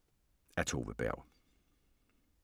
Af Tove Berg